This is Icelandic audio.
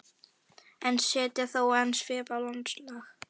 en setja þó enn svip á landslag.